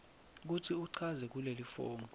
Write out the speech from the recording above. kutsi uchaze kulelifomu